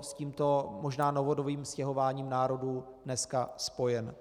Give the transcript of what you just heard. s tímto možná novodobým stěhováním národů dneska spojen.